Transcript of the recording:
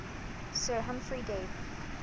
sir humphry davy